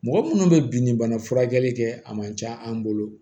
Mɔgɔ munnu bɛ bin ni bana furakɛli kɛ a man ca an bolo